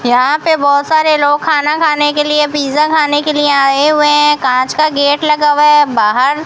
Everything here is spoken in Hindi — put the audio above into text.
यहां पे बहोत सारे लोग खाना खाने के लिए पिज़्ज़ा खाने के लिए आए हुए हैं कांच का गेट लगा हुआ है बाहर।